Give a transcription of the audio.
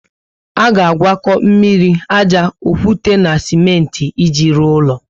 A ga agwako mmiri, ájá, okwute na simenti iji rụọ ulo